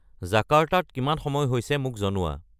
জাকাৰ্টাত কিমান সময় হৈছে মোক জনোৱা